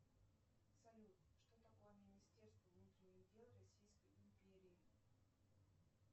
салют что такое министерство внутренних дел российской империи